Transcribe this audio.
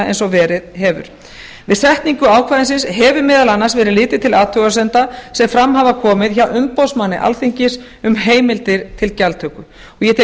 eins og verið hefur við samningu ákvæðisins hefur meðal annars verið litið til athugasemda sem fram hafa komið hjá umboðsmanni alþingis um heimildir til gjaldtöku ég tel